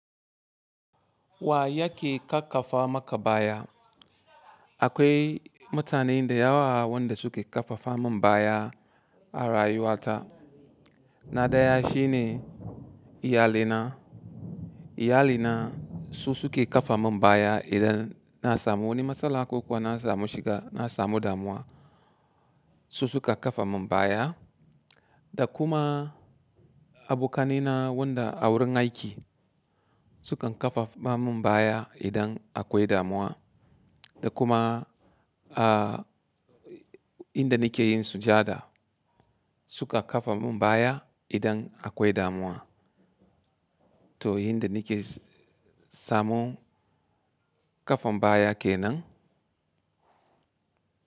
Wa yake ƙarfafa maka baya? Akwai mutane da yawa wanda suke ƙarfafa min baya a rayuwata. Na ɗaya shine iyalina. Iyali na su suke ƙafa min baya idan na samu wani matsala ko kuwa na samu shiga, na samu damuwa su suka ƙafa min baya. Da kuma abokanina wanda a wurin aiki sukan ƙarfafa min baya idan akwai damuwa. Da kuma a inda nike yin sujada suka ƙafa min baya idan akwai damuwa. To inda nike samun ƙafan baya kenan.